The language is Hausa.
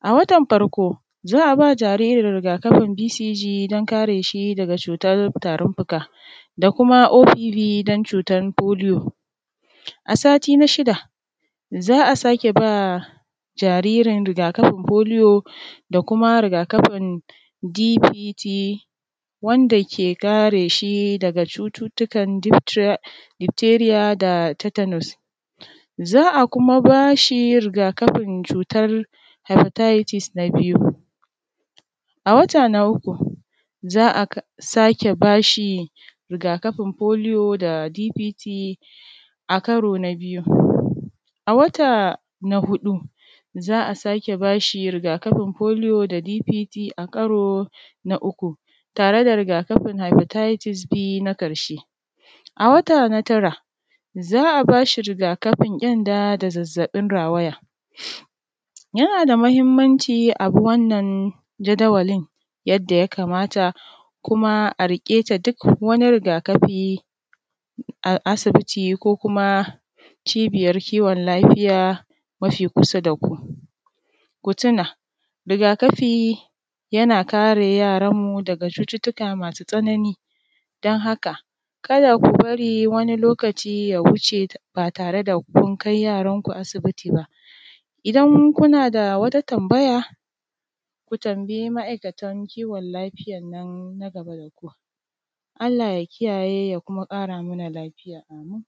A watan farko za ba jariri rigakafin (BCJ) don kare shi daga cutar tarin fuka, da kuma (OPB) don cutan foliyo. A sati na shida za a sake ba jaririn rigakafin foliyo da kuma rigakafin (DPT)wanda ke kareshi daga cututukan diftira ,difteriya da tatanos. Za a kuma bashi rigakafin cutar haifataitis na biyu. A wata na uku za a ka, sake bashi rigakafin foliyo da (DPT) a karo na biyu. A wata na huɗu za a sake bashi rigakafin foliyo da (DPT) a karo na uku tare da rigakafi haifataitis B na karshe. A wata na tara za a bashi rigakafin ƙyanda da zazzaɓin rawaya. Yana da mahimmanci abi wannan jadawalin yadda ya kamata kuma a riƙeta duk wani rigakafi a asibiti ko kuma cibiyar kiwon lafiya mafi kusa daku, ku tuna, rigakafi yana kare yaranmu daga cututuka masu tsanani, don haka kada ku bari wani lokaci ya wuce ba tare kun kai yaranku asibiti ba. Idan kuna da wata tambaya ku tambayi ma’aikatan kiwon lafiya nan na gana daku. Allah ya kiyayye ya kuma ƙara mana lafiya. Ameen.